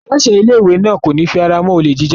Aláṣẹ ilé-ìwé náà kò ní fi ara mọ́ olè jíjà.